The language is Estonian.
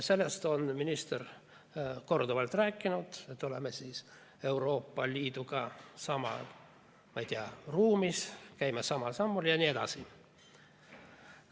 Sellest on minister korduvalt rääkinud, et oleme siis Euroopa Liiduga samas, ma ei tea, ruumis, käime samal sammul jne.